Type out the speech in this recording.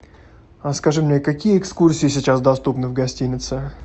скажи мне какие экскурсии сейчас доступны в гостинице